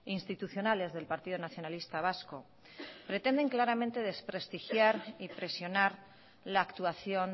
institucionales del partido nacionalista vasco pretenden claramente desprestigiar y presionar la actuación